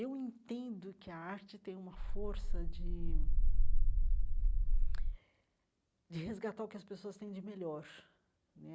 Eu entendo que a arte tem uma força de de resgatar o que as pessoas têm de melhor né.